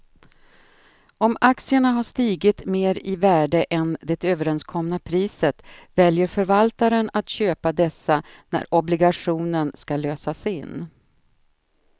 Om aktierna har stigit mer i värde än det överenskomna priset väljer förvaltaren att köpa dessa när obligationen ska lösas in.